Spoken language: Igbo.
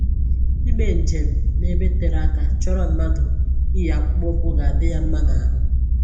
Ime njem n'ebe tere aka chọrọ mmadụ iyi akpụkpọ ụkwụ ga-adị ya mma n'ahụ